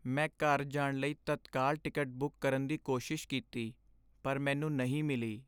ਮੈਂ ਘਰ ਜਾਣ ਲਈ ਤਤਕਾਲ ਟਿਕਟ ਬੁੱਕ ਕਰਨ ਦੀ ਕੋਸ਼ਿਸ਼ ਕੀਤੀ ਪਰ ਮੈਨੂੰ ਨਹੀਂ ਮਿਲੀ।